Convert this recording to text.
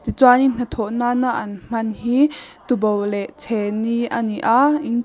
ti chuanin hnathawh nana an hman hi tuboh leh chhehni ani a.